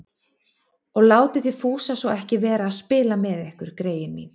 Og látið þið Fúsa svo ekki vera að spila með ykkur, greyin mín